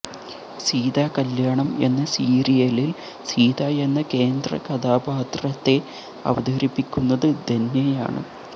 സീത കല്യാണം എന്ന സീരിയലില് സീത എന്ന കേന്ദ്രകഥാപാത്രത്തെ അവതരിപ്പിക്കുന്നത് ധന്യയാണ്